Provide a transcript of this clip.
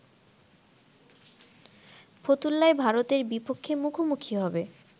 ফতুল্লায় ভারতের বিপক্ষে মুখোমুখি হবে